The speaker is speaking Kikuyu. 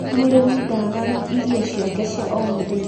mũrĩmi ndaagaga irio ciake cia o mũthenya .